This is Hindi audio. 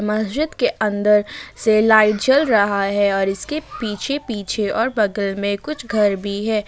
मस्जिद के अंदर से लाइट जल रहा है और इसके पीछे पीछे और बगल में कुछ घर भी है ।